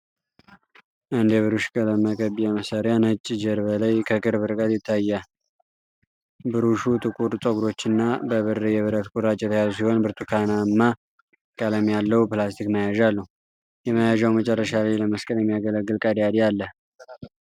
አንድ የብሩሽ ቀለም መቀቢያ መሳሪያ ነጭ ጀርባ ላይ ከቅርብ ርቀት ይታያል። ብሩሹ ጥቁር ፀጉሮችና በብር የብረት ቁራጭ የተያዙ ሲሆን ብርቱካንማ ቀለም ያለው ፕላስቲክ መያዣ አለው። የመያዣው መጨረሻ ላይ ለመስቀል የሚያገለግል ቀዳዳ አለ።